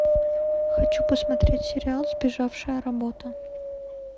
хочу посмотреть сериал сбежавшая работа